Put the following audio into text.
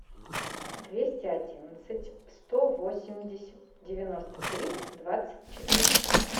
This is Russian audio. двести одиннадцать сто восемьдесят девяносто три двадцать четыре